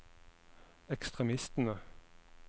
ekstremistene